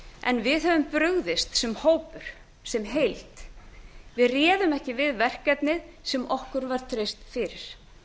en við höfum brugðist sem hópur sem heild við réðum ekki við verkefnið sem okkur var treyst fyrir